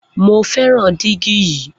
Mo fẹràn dígí yìí